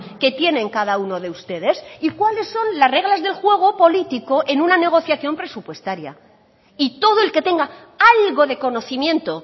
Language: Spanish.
que tienen cada uno de ustedes y cuáles son las reglas del juego político en una negociación presupuestaria y todo el que tenga algo de conocimiento